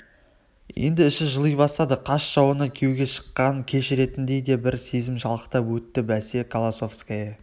енді іші жыли бастады қас жауына күйеуге шыққанын кешіретіндей де бір сезім шалықтап өтті бәсе колосовская